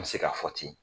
N bɛ se k'a fɔ ten